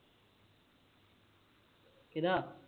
ਕਿਹਦਾ